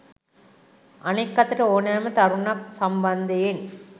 අනෙක් අතට ඕනෑම කරුණක් සම්බන්ධයෙන්